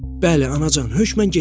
Bəli, Anacan, hökmən getməliyəm.